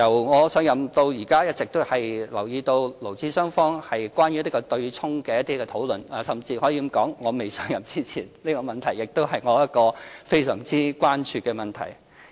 我由上任至今一直留意到勞資雙方有關強積金對沖的討論，甚至可以說，在我未上任前，這亦是我非常關注的問題。